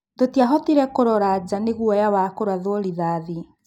Tũtiahotire kũrora nja nĩguoya ya kũrathwo rithathi.